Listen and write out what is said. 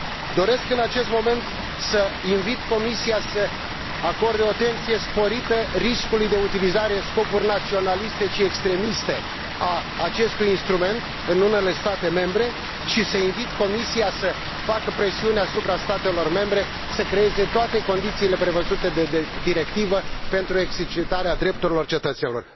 Doresc în acest moment să invit Comisia să acorde o atenție sporită riscului de utilizare în scopuri naționaliste și extremiste a acestui instrument în unele state membre, și să invit Comisia să facă presiuni asupra statelor membre să creeze toate condițiile prevăzute de directivă pentru exercitarea drepturilor cetățenilor.